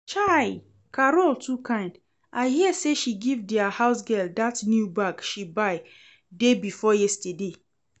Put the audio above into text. Chaii! Carol too kind, I hear say she give dia housegirl dat new bag she buy day before yesterday